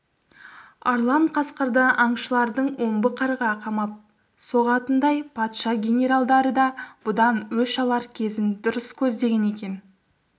арлан қасқырды аңшылардың омбы қарға қамап соғатынындай патша генералдары да бұдан өш алар кезін дұрыс көздеген екен